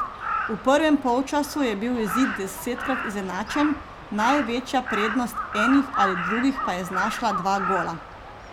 V prvem polčasu je bil izid desetkrat izenačen, največja prednost enih ali drugih pa je znašala dva gola.